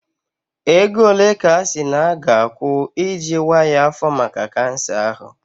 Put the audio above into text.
Ego ole ka a sị na a ga-akwụ iji waa ya afọ maka kansa ahụ?